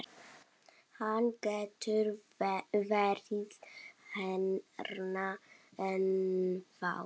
Hann getur verið hérna ennþá.